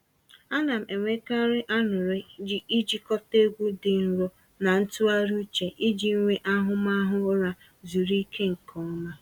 A na m enwekarị anụrị ijikọta egwu dị nro na ntụgharị uche iji nwee ahụmahụ ụra zuru ike nke ọma.